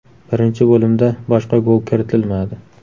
Birinchi bo‘limda boshqa gol kiritilmadi.